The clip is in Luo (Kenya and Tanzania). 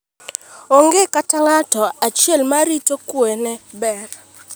Onge kata ng'ato achiel ma arita kwe ne ber.